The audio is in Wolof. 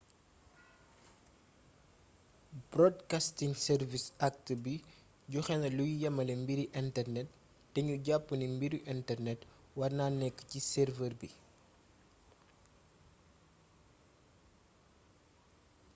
broadcasting service act bi joxéna luy yamalé mbiri internet té gnu japp ni mbiru internet warna nékk ci server bi